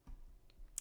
DR2